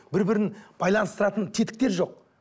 бір бірін байланыстыратын тетіктер жоқ